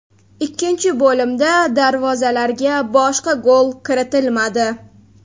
Ikkinchi bo‘limda darvozalarga boshqa gol kiritilmadi.